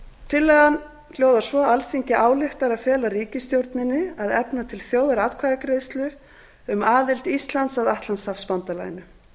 tillagan hljóðar svo alþingi ályktar að fela ríkisstjórninni að efna til þjóðaratkvæðagreiðslu um aðild íslands að atlantshafsbandalaginu